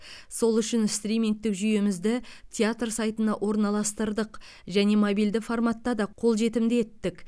сол үшін стримингтік жүйемізді театр сайтына орналастырдық және мобильді форматта да қолжетімді еттік